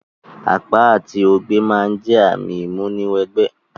Àpá àti ogbẹ́ ma n jẹ ààmì ìmúni wẹ gbẹ́